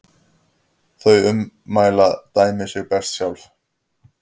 Þau ummæli dæma sig best sjálf.